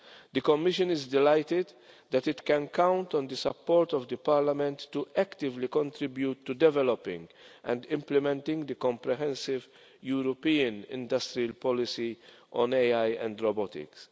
The Commission is delighted that it can count on the support of Parliament to actively contribute to developing and implementing the comprehensive European industrial policy on AI and robotics.